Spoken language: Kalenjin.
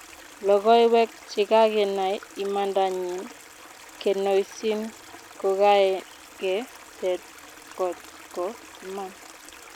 Logoiwek chegagenai imanda nyin kenoisiin kogage tet kot ko iman.